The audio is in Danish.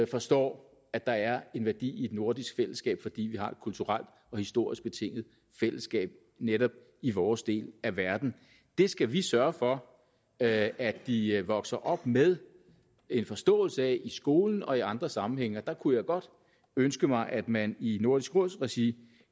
forstår at der er en værdi i et nordisk fællesskab fordi vi har et kulturelt og historisk betinget fællesskab netop i vores del af verden det skal vi sørge for at at de vokser op med en forståelse af i skolen og i andre sammenhænge og jeg kunne godt ønske mig at man i nordisk råds regi